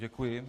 Děkuji.